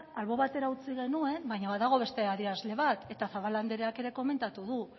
albo batera utzi genuen baina badago beste adierazle bat eta zabala andreak ere komentatu du